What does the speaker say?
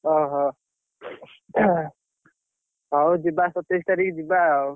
ଓହୋ! ହଉ ଯିବ ସତେଇଶ ତାରିଖ ଯିବା ଆଉ।